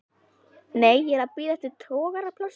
Nei, ég er að bíða eftir togaraplássi.